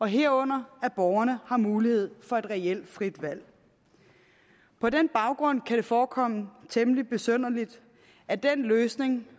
herunder at borgerne har mulighed for et reelt frit valg på den baggrund kan det forekomme temmelig besynderligt at den løsning